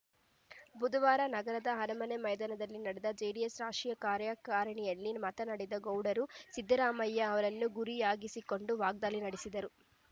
ಬುಧವಾರ ನಗರದ ಅರಮನೆ ಮೈದಾನದಲ್ಲಿ ನಡೆದ ಜೆಡಿಎಸ್‌ ರಾಶೀಯ ಕಾರ್ಯಕಾರಿಣಿಯಲ್ಲಿ ಮಾತನಾಡಿದ ಗೌಡರು ಸಿದ್ದರಾಮಯ್ಯ ಅವರನ್ನು ಗುರಿಯಾಗಿಸಿಕೊಂಡು ವಾಗ್ದಾಳಿ ನಡೆಸಿದರು